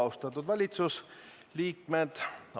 Austatud valitsusliikmed!